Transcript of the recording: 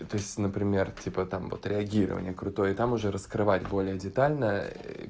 то есть например типа там вот реагирование крутое и там уже раскрывать более детально